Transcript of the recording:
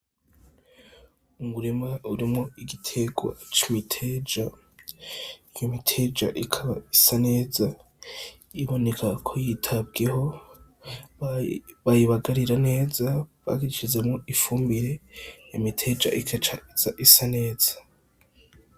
Umurima urimwo igiterwa c'imiteja, iyo miteja ikaba isa neza ibonekako yitabweho bayibagarira neza, bashizemwo ifumbire, imiteja ikaca iza isa neza.